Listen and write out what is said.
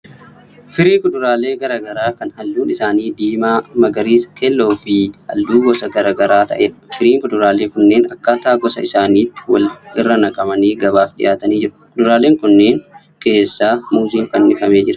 Firii kuduraalee garaa garaa kan halluun isaanii: diimaa, magariisa, keelloo fi halluu gosa garaa garaa ta'eedha. Firiin kuduraalee kunneen akkaataa gosa isaaniitti wal irra naqamanii gabaaf dhiyaatanii jiru. Kuduraalee kanneen keessaa muuziin fannifamee jira.